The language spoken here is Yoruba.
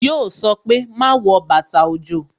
Yo sọ pé "Má wọ bàtà òjò"